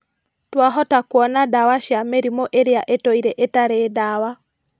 Twahota kũona ndawa cia mĩrimũ ĩrĩa ĩtũire ĩtarĩ ndawa